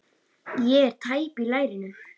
Ég er tæp í lærinu.